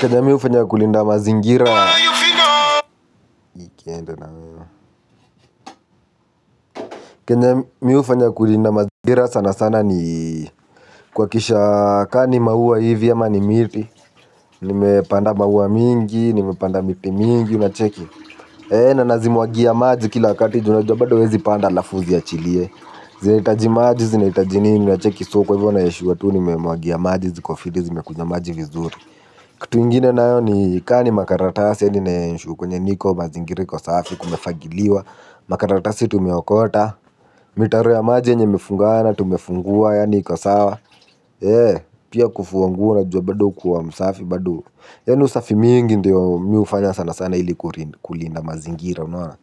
Kenye mi hufanya kulinda mazingira sana sana ni kuhakisha kama ni mauwa hivi ama ni miti. Nimepanda mauwa mingi, nimepanda miti mingi, unacheki. Na nazimwagia maji kila wakati ju unajua bado uwezi panda alafu uzi yachilie. Zinahitaji maji zinahitaji nini, unacheki so kwa hivyo na-ensure tu nimemwagia maji ziko fiti zimekunywa maji vizuri. Kitu ingine nayo ni ka ni makaratasi ya nina-ensure kwenye niko mazingira iko safi kumefagiliwa. Makaratasi tumeokota. Mitaro ya maji yenye imefungana tumefungua yaani iko sawa. Pia kufua nguo unajua bado kuwa msafi bado. Yaani usafi mingi ndiyo mi hufanya sana sana ili kulinda mazingira unaona.